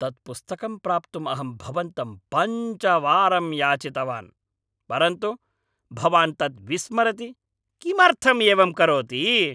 तत् पुस्तकं प्राप्तुं अहं भवन्तं पञ्चवारं याचितवान्, परन्तु भवान् तत् विस्मरति, किमर्थं एवं करोति?